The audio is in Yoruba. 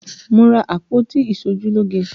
Mo ra àpótí iṣojúlógé